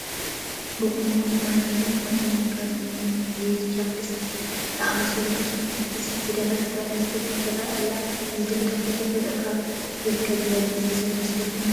ብቁኖ ሁማን ሄይር ከምኡውን ከም እኒ ኩሕሊ፣ ሊፕ ስቲክ ብዝኣምሰሉ ኮስመቲካስ ዝደመቐት ጓል ኣነስተይቲ ትርአ ኣላ፡፡ እዚ ድምቀት ብተፈጥሮ ካብ ዝርከብ ዝበለፀ ዝፍቶ ዶ ይመስለኩም?